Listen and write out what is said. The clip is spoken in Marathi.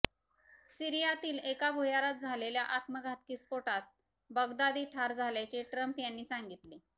सिरीयातील एका भुयारात झालेल्या आत्मघातकी स्फोटात बगदादी ठार झाल्याचे ट्रम्प यांनी सांगितले